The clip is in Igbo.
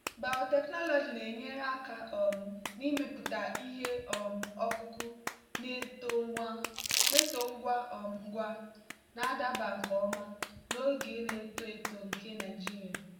biotechnology na-enyere aka um n'ịmepụta ihe um ọkụkụ na-eto ngwa um ngwa na-adaba nke ọma na oge na-eto eto nke nigeria.